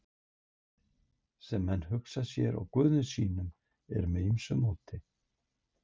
Útlitið sem menn hugsa sér á guðum sínum er með ýmsu móti.